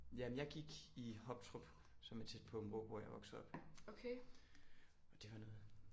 Ja men jeg gik i Hoptrup som er tæt på hvor jeg er vokset op og det var noget